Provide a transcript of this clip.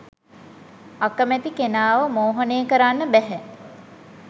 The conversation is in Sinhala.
අකමැති කෙනාව මෝහනය කරන්න බැහැ